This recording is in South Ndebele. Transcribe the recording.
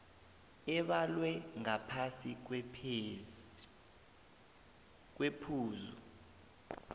ebalwe ngaphasi kwephuzu